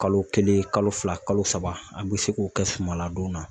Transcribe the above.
Kalo kelen ,kalo fila ,kalo saba, an bɛ se k'o kɛ sumala donna.